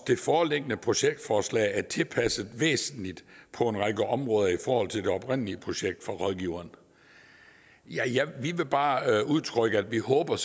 det foreliggende projektforslag er tilpasset væsentligt på en række områder i forhold til det oprindelige projekt fra rådgiveren vi vil bare udtrykke at vi håber at